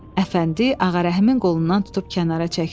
Əfəndi Ağarəhimin qolundan tutub kənara çəkdi.